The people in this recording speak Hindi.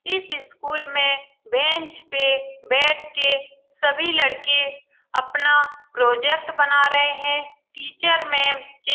''इस स्कूल में बेंच पे बैठ के सभी लड़के अपना प्रोजेक्ट बना रहे हैं टीचर मैम चेयर --''